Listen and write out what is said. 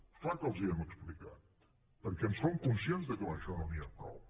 és clar que els ho hem explicat perquè en som conscients que amb això no n’hi ha prou